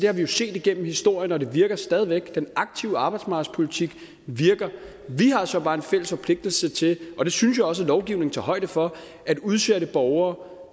har vi jo set igennem historien og det virker stadig væk den aktive arbejdsmarkedspolitik virker vi har så bare en fælles forpligtelse til og det synes jeg også lovgivningen tager højde for at udsatte borgere